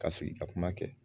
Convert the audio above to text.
Ka sigi ka kuma kɛ.